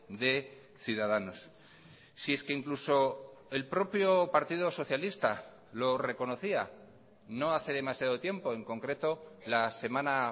de ciudadanos si es que incluso el propio partido socialista lo reconocía no hace demasiado tiempo en concreto la semana